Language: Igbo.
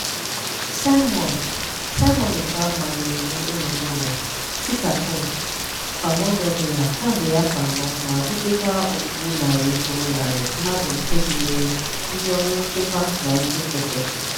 Simon Simon Ekpa manyere iwu ịnọ n'ụlọ (sit-at-home) kwa Mọnde ọbụla kamgbe afọ anọ ma butekwa ogbugbu narị kwuru narị mmadụ nke gụnyere ndị ọrụ nchekwa na ndị nkịtị.